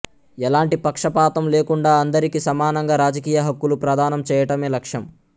ఎలాంటి పక్షపాతం లేకుండా అందరికీ సమానంగా రాజకీయ హక్కులు ప్రదానం చేయటమే లక్ష్యం